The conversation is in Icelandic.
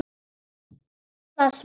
Hún las vel.